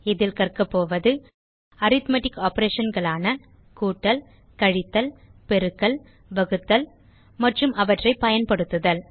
இதில் கற்க போவது அரித்மெட்டிக் Operationகளான கூட்டல் கழித்தல் பெருக்கல் வகுத்தல் மற்றும் அவற்றை பயன்படுத்துதல்